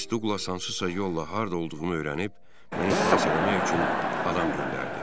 Miss Duqlas hansısa yolla harda olduğumu öyrənib, məni xilas eləmək üçün adam göndərdi.